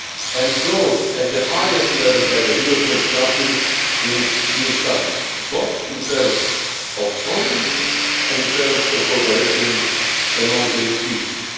It was endorsed at the highest level by the European Council at its June summit, both in terms of content and in terms of cooperation among the institutions.